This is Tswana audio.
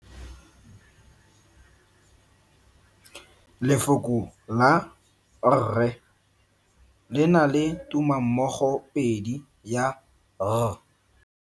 Lefoko la rre le na le tumammogopedi ya, r.